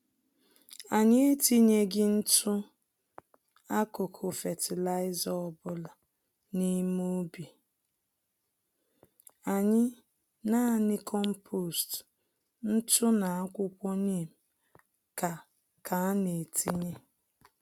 Anyị etinyeghi ntụ-akụkụ fertilizer ọbula n'ime ubi anyị, nanị kompost, ntụ na akwuwko neem ka ka ana-etinye.